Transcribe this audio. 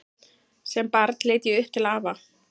Sem barn leit ég upp til afa.